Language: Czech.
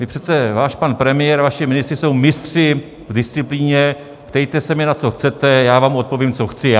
My přece - váš pan premiér, vaši ministři jsou mistři v disciplíně "ptejte se mě, na co chcete, já vám odpovím, co chci já".